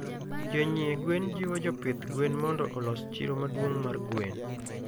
Jonyie gwen jiwo jopidh gwen mondo olos chiro maduong mar gwen